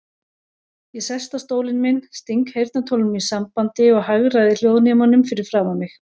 Ég sest á stólinn minn, sting heyrnartólunum í sambandi og hagræði hljóðnemanum fyrir framan mig.